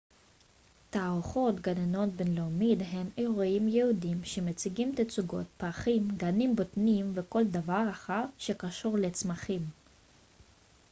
תערוכות גננות בינלאומיות הן אירועים ייעודיים שמציגים תצוגות פרחים גנים בוטניים וכל דבר אחר שקשור לצמחים